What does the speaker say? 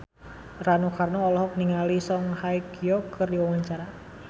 Rano Karno olohok ningali Song Hye Kyo keur diwawancara